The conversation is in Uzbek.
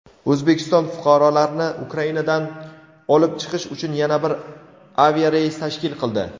O‘zbekiston fuqarolarni Ukrainadan olib chiqish uchun yana bir aviareys tashkil qildi.